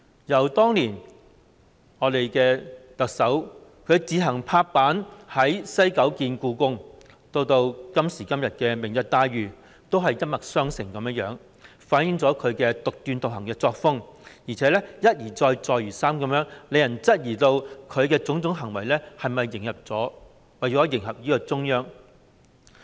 由當年特首以司長身份自行拍板在西九文化區興建香港故宮文化博物館，到今時今日提出"明日大嶼願景"，手法都一脈相承，反映了她獨斷獨行的作風；而且，她一而再，再而三地這樣做，令人質疑她的種種行為是否為了迎合中央。